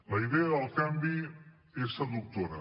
la idea del canvi és seductora